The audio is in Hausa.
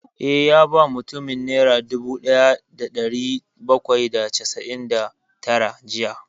Eh, ya ba mutumin nera dubu ɗaya da ɗari bakwai da casa'in da tara jiya